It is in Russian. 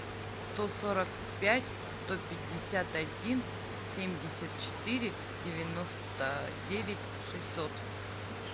сто сорок пять сто пятьдесят один семьдесят четыре девяносто девять шестьсот